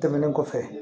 Tɛmɛnen kɔfɛ